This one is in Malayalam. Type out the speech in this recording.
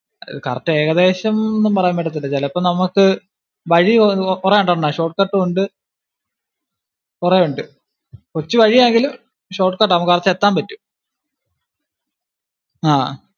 correct ഏകദേശം എന്ന് ഒന്നും പറയാൻ പറ്റത്തില്ല ചിലപ്പോ നമക്ക് വഴി കുറെ ഉണ്ട് അണ്ണാ short cut ഉണ്ട് കുറെ ഉണ്ട് കൊച്ചു വഴിയാണെങ്കിലും short cut ആണ് നമക്ക് എത്താൻ പറ്റും. ആഹ്